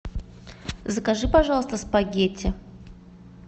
закажи пожалуйста спагетти